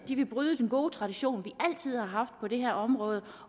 vil bryde den gode tradition vi altid har haft på det her område